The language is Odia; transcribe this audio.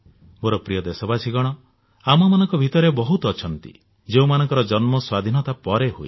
ମୋର ପ୍ରିୟ ଦେଶବାସୀଗଣ ଆମମାନଙ୍କ ଭିତରେ ବହୁତ ଅଛନ୍ତି ଯେଉଁମାନଙ୍କ ଜନ୍ମ ସ୍ୱାଧୀନତା ପରେ ହୋଇଛି